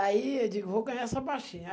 Aí eu digo, vou ganhar essa baixinha.